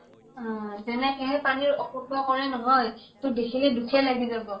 অʼযেনেকে হে পানী ৰ অপব্যৱহাৰ কৰে নহয়, তোৰ দেখিলে দুখেই লাগি যাব ।